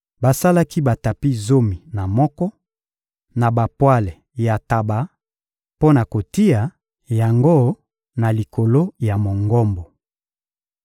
Basalaki batapi zomi na moko, na bapwale ya ntaba mpo na kotia yango na likolo ya Mongombo.